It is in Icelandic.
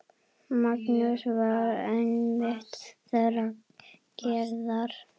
Magnús var einmitt þeirrar gerðar.